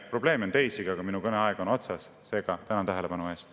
Probleeme on teisigi, aga minu kõneaeg on otsas, seega tänan tähelepanu eest.